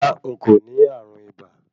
Rárá, n kò ní ààrùn ibà